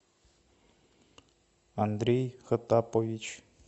андрей хотапович